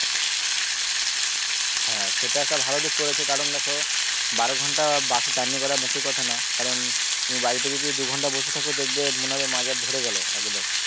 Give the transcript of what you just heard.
হ্যাঁ সেটা একটা ভালো দিক করেছে কারণ দেখো বারো ঘন্টা bus এ journey করা মুখের কথা না কারণ তুমি বাড়িতে যদি দু ঘন্টা বসে থাকো দেখবে মনে হবে মাঝ হার ধরে গেলো একদম